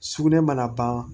Sugunɛ mana ban